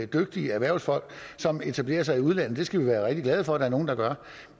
dygtige erhvervsfolk som etablerer sig i udlandet det skal vi være rigtig glade for at der er nogle der gør